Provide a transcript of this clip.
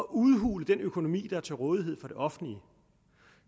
udhule den økonomi der er til rådighed for det offentlige